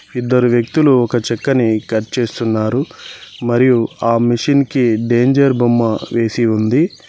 ఇద్దరు వ్యక్తులు ఒక చెక్కని కట్ చేస్తున్నారు మరియు ఆ మిషిన్ కి డేంజర్ బొమ్మ వేసి ఉంది.